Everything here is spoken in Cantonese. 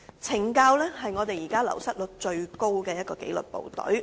懲教署是現時流失率最高的紀律部隊。